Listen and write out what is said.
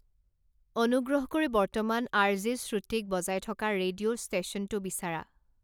অনুগ্ৰহ কৰি বৰ্তমান আৰজে শ্ৰুটিক বজাই থকা ৰেডিঅ' ষ্টেশ্যনটো বিচাৰা